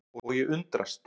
Og ég undrast.